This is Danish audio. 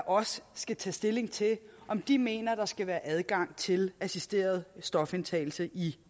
også skal tage stilling til om de mener der skal være adgang til assisteret stofindtagelse i